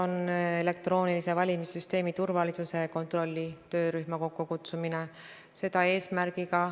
Suur tänu, hea Riigikogu liige Urve Tiidus, väga põhjaliku küsimuse eest ja selle ettevalmistuse eest, et te olete väga täpselt omale selgeks teinud kõik minuga seonduva!